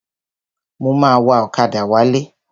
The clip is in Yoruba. Mo ma wa ọ̀kadà wálé.